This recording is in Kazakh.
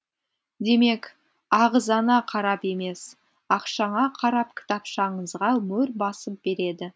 демек ағзаңа қарап емес ақшаңа қарап кітапшаңызға мөр басып береді